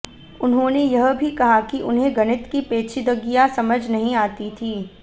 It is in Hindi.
उन्होंने यह भी कहा कि उन्हें गणित की पेचीदगियां समझ नहीं आती थीं